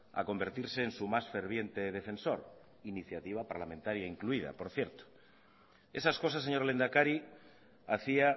a convertirse en su más ferviente defensor iniciativa parlamentaria incluida por cierto esas cosas señor lehendakari hacía